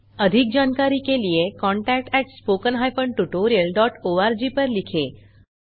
अधिक जानकारी के लिए contactspoken tutorialorg पर लिखें